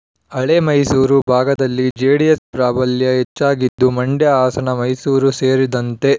ಹಳೆಮೈಸೂರು ಭಾಗದಲ್ಲಿ ಜೆಡಿಎಸ್ ಪ್ರಾಬಲ್ಯ ಹೆಚ್ಚಾಗಿದ್ದು ಮಂಡ್ಯ ಹಾಸನ ಮೈಸೂರು ಸೇರಿದಂತೆ